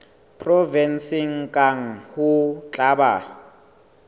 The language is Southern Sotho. provenseng kang ho tla ba